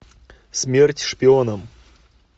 смерть шпионам